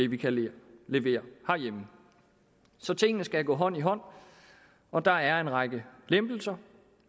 vi kan levere herhjemme så tingene skal gå hånd i hånd og der er en række lempelser